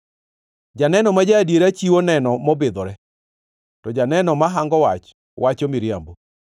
Janeno ma ja-adiera chiwo neno mobidhore, to janeno ma hango wach wacho miriambo.